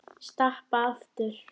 Stappa aftur.